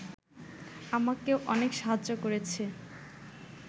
আমাকে অনেক সাহায্য করেছে